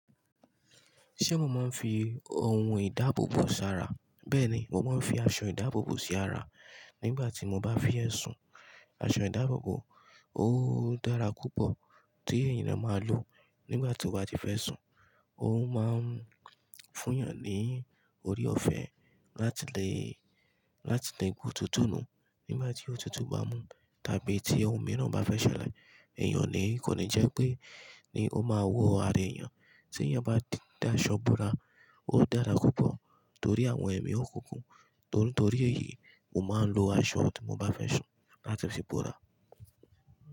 Ṣé mo máa ń fi oun ìdáàbò bò sí ara? Bẹ́ẹ̀ ni, mo máa ń fi aṣọ ìdáàbò bò sí ara nígbà tí mo bá fẹ́ sùn. Aṣọ ìdáàbòò ó dára púpọ̀ tí ènìyàn máa lò nígbà tí ó bá ti fẹ́ sùn. Ó máa ń fún èèyàn ní orí ọ̀fẹ́ láti lè, láti lè gun tútù nù nígbà tí òtútù bá mú tàbí tí ohun mìíràn bá fẹ́ ṣẹlẹ̀. Ẹ̀yàn ni, kò ní jẹ́ pé ni ó máa wọ̀ ara èèyàn. Tí èèyàn bá di dá aṣọ búra, ó dára púpọ̀ torí àwọn ẹ̀mí ó kunkun. Nítorí èyí, mo máa ń lo aṣọ tí mo bá fẹ́ sùn láti fi búra.